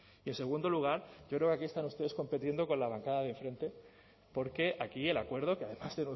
y en segundo lugar yo creo que aquí están ustedes compitiendo con la bancada de enfrente porque aquí el acuerdo que además